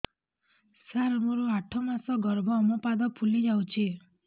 ସାର ମୋର ଆଠ ମାସ ଗର୍ଭ ମୋ ପାଦ ଫୁଲିଯାଉଛି